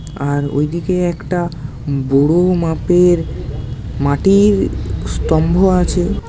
আর ওইদিকে একটা বড়-ও মাপের মাটির স্তম্ভ আছে।